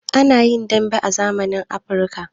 A na yin damben zamani a Amurika.